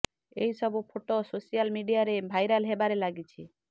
ଏହି ସବୁ photo social media ରେ ଭାଇରଲ ହେବାରେ ଲାଗିଛି